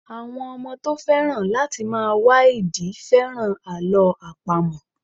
Àwọn ọmọ tó féràn láti máa wá ìdí féràn Àlọ́ àpamọ̀.